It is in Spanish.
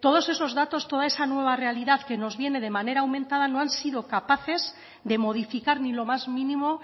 todos esos datos toda esa nueva realidad que nos viene de manera aumentada no han sido capaces de modificar ni lo más mínimo